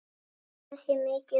Það sé mikið vald.